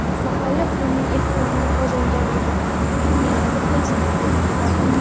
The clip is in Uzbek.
Mahalla-ko‘yning ehtiromini qozongan edi”, deyiladi Facebook’dagi xabarda.